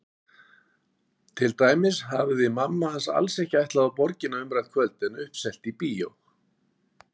Til dæmis hafði mamma alls ekki ætlað á Borgina umrætt kvöld en uppselt á bíó.